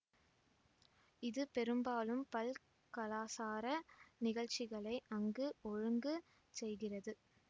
இது பெரும்பாலும் பல்கலாசார நிகழ்ச்சிகளை அங்கு ஒழுங்கு செய்கிறது